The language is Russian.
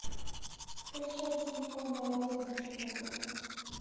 скачать телефонные розыгрыши для друга